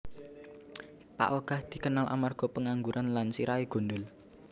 Pak Ogah dikenal amarga pengangguran lan sirahé gundhul